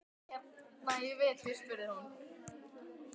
Má ég vera hérna í vetur? spurði hún.